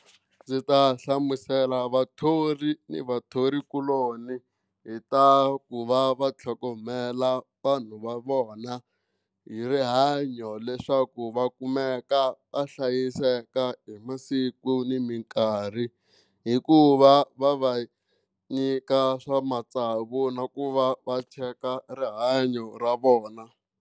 Ndzi ta hlamusela vathori ni vathorikuloni hi ta ku va va tlhogomela vanhu va vona hi rihanyo leswaku va kumeka va hlayiseka hi masiku ni mikarhi hikuva va va nyika swa matsavu na ku va va cheka rihanyo ra vona.